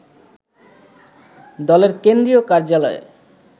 দলের কেন্দ্রীয় কার্যালয়ে